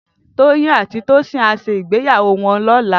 Toyin àtí Tosin á ṣé igbéyàwó wòn lòlá